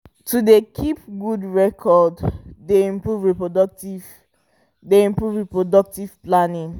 to dey keep good record dey improve reproductive dey improve reproductive palnning